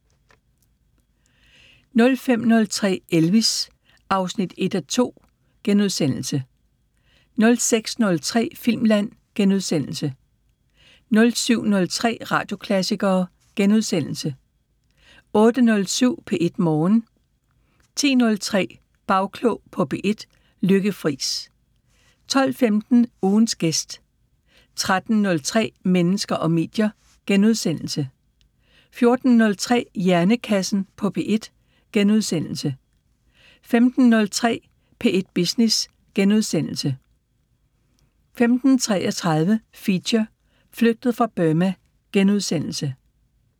05:03: Elvis: 1:2 (Afs. 1)* 06:03: Filmland * 07:03: Radioklassikere * 08:07: P1 Morgen 10:03: Bagklog på P1: Lykke Friis 12:15: Ugens gæst 13:03: Mennesker og medier * 14:03: Hjernekassen på P1 * 15:03: P1 Business * 15:33: Feature: Flygtet fra Burma *